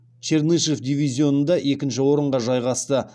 чернышев дивизионында екінші орынға жайғасты